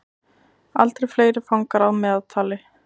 Aldrei fleiri fangar að meðaltali